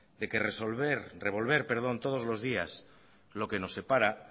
de que revolver todos los días lo que nos separa